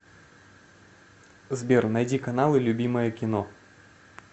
сбер найди каналы любимое кино